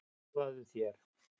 Hraðaðu þér!